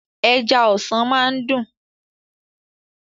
Ẹja ọsàn máa ń dún.